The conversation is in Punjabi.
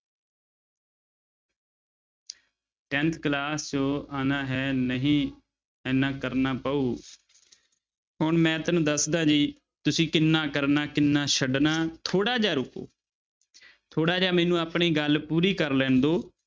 Tenth class ਚੋਂ ਆਉਣਾ ਹੈ ਨਹੀਂ ਇੰਨਾ ਕਰਨਾ ਪਊ ਹੁਣ ਮੈਂ ਤੈਨੂੰ ਦੱਸਦਾਂ ਜੀ ਤੁਸੀਂ ਕਿੰਨਾ ਕਰਨਾ ਕਿੰਨਾ ਛੱਡਣਾ ਥੋੜ੍ਹਾ ਜਿਹਾ ਰੁਕੋ ਥੋੜ੍ਹਾ ਜਿਹਾ ਮੈਨੂੰ ਆਪਣੀ ਗੱਲ ਪੂਰੀ ਕਰ ਲੈਣ ਦਓ।